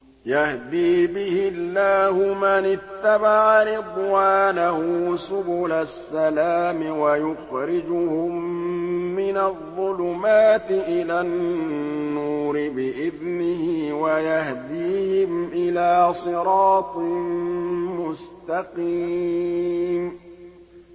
يَهْدِي بِهِ اللَّهُ مَنِ اتَّبَعَ رِضْوَانَهُ سُبُلَ السَّلَامِ وَيُخْرِجُهُم مِّنَ الظُّلُمَاتِ إِلَى النُّورِ بِإِذْنِهِ وَيَهْدِيهِمْ إِلَىٰ صِرَاطٍ مُّسْتَقِيمٍ